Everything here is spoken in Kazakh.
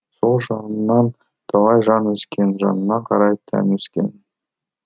сол жаннан талай жан өскен жанына қарай тән өскен